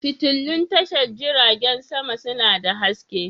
Fitulun tashar jiragen sama suna da haske.